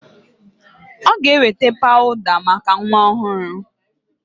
Ọ ga-eweta pawụda maka nwa ọhụrụ.